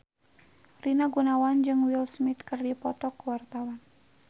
Rina Gunawan jeung Will Smith keur dipoto ku wartawan